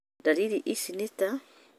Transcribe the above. Ndariri ici nĩ ta: